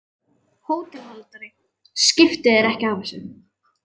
HÓTELHALDARI: Skiptu þér ekki af þessu.